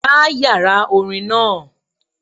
Gbá yàrá orin náà